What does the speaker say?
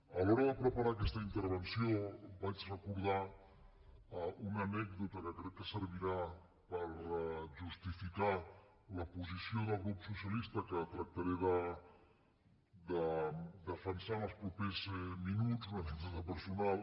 a l’hora de preparar aquesta intervenció vaig recordar una anècdota que crec que servirà per justificar la posició del grup socialista que tractaré de defensar en els propers minuts una anècdota personal